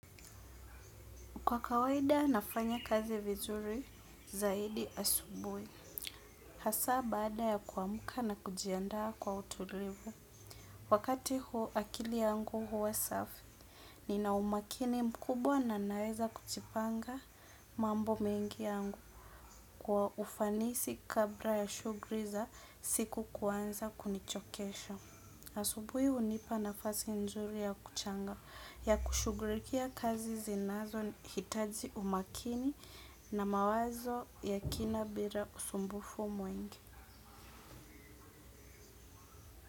Kwa kawaida nafanya kazi vizuri zaidi asubuhi, hasa baada ya kuamka na kujiandaa kwa utulivu. Wakati huo akili yangu huwa safi, nina umakini mkubwa na naeza kujipanga mambo mengi yangu kwa ufanisi kabla ya shughuli za siku kuanza kunichokesha. Asubuhi hunipa nafasi nzuri ya kuchanga ya kushughulikia kazi zinazohitaji umakini na mawazo ya kina bila usumbufu mwengi.